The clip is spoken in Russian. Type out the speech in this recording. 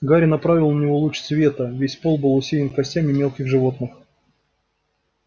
гарри направил на него луч света весь пол был усеян костями мелких животных